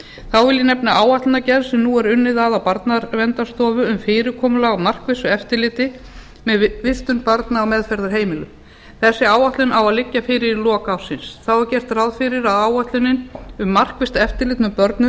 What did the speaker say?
þá vil ég nefna áætlanagerð sem nú er unnið að á barnaverndarstofu um fyrirkomulag á markvissu eftirliti með vistun barna á meðferðarheimilum þessi áætlun á að liggja fyrir í lok ársins þá er gert ráð fyrir að áætlun um markvisst eftirlit með börn